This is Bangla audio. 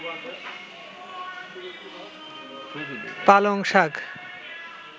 পালং শাক